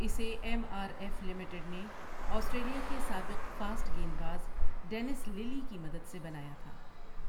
اسے M R F limited نے Australia کے سابق فاسٹ گیند باز ڈینس للی کی مدد سے بنایا تھا۔